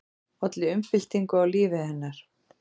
Olli umbyltingu á lífi hennar.